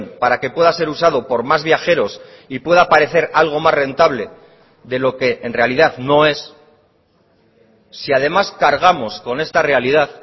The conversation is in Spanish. para que pueda ser usado por más viajeros y pueda parecer algo más rentable de lo que en realidad no es si además cargamos con esta realidad